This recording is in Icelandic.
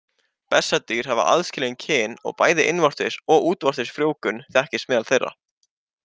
Bessadýr hafa aðskilin kyn og bæði innvortis og útvortis frjóvgun þekkist meðal þeirra.